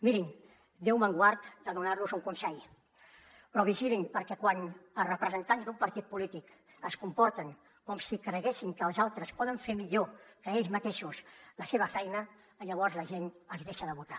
mirin déu me’n guard de donarlos un consell però vigilin perquè quan els representants d’un partit polític es comporten com si creguessin que els altres poden fer millor que ells mateixos la seva feina llavors la gent els deixa de votar